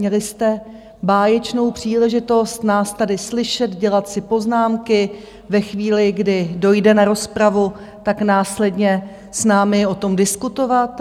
Měli jste báječnou příležitost nás tady slyšet, dělat si poznámky, ve chvíli, kdy dojde na rozpravu, tak následně s námi o tom diskutovat.